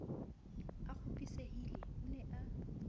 a kgopisehile o ne a